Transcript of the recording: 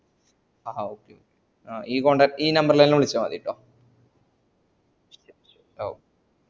ഹ ഹ okay ഈ contact ഈ number ലെന്നെ വിളച്ച മതി ട്ടൊ